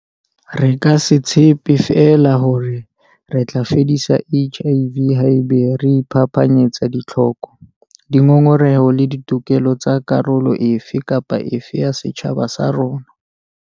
Re ka se tshepe feela hore re tla fedisa HIV haeba re iphapanyetsa ditlhoko, dingongoreho le ditokelo tsa karolo e fe kapa e fe ya setjhaba sa rona.